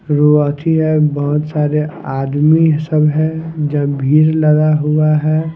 रोती है बहुत सारे आदमी सब है जब भीर लड़ा हुआ है।